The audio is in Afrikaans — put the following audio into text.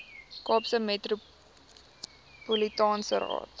kaapse metropolitaanse raad